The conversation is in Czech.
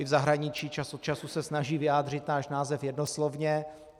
I v zahraničí čas od času se snaží vyjádřit náš název jednoslovně.